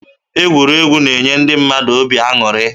Egwuregwu na-enye ndị mmadụ obi aṅụrị